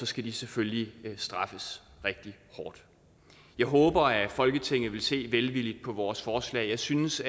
skal de selvfølgelig straffes rigtig hårdt jeg håber at folketinget vil se velvilligt på vores forslag jeg synes